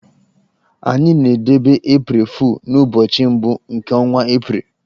Anyị na-edebe 'April Fool' n'ụbọchị mbụ nke ọnwa April.